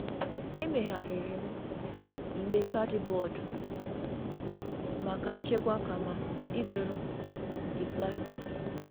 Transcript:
Emegharịrị m igbe kaadịbọọdụ maka nchekwa kama ịzụrụ nke plastik.